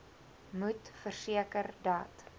moet verseker dat